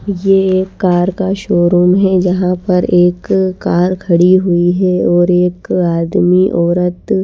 ये एक कार का शोरूम है जहां पर एक कार खड़ी हुई है और एक आदमी औरत--